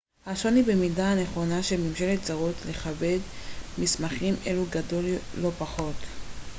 השוני במידת הנכונות של ממשלות זרות לכבד מסמכים אלו גדול לא פחות